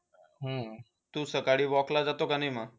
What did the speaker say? हम्म तू सकाळी walk ला जातो की नाही मग?